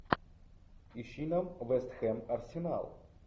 ищи нам вест хэм арсенал